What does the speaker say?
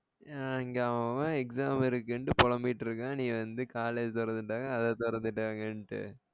அஹ் இங்க அவன் அவன் exam இருகிண்டு பொலம்பிட்டு இருக்கான் நீ வந்து college தொரந்துடாங்க அத தொரந்துடாங்ககிண்டு